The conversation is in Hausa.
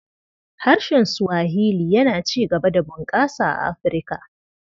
Harshen Swahili yana ci gaba da bunƙasa a Afirka.